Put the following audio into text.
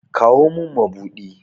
Kawo min mabuɗi!